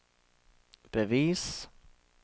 bevis